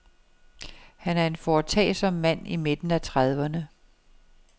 Han er en foretagsom mand i midten af trediverne.